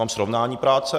Mám srovnání práce.